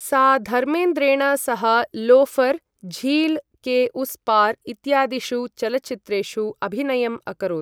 सा धर्मेन्द्रेण सह लोफर, झील के उस पार इत्यादिषु चलच्चित्रेषु अभिनयम् अकरोत् ।